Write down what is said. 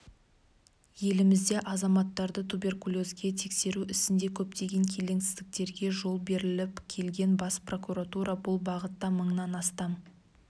елімізде азаматтарды туберкулезге тексеру ісінде көптеген келеңсіздіктерге жол беріліп келген бас прокуратура бұл бағытта мыңнан астам